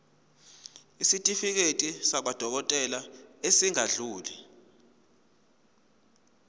isitifiketi sakwadokodela esingadluli